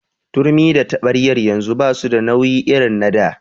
Turmi da taɓaryar yanzu basu da nauyi irin na da.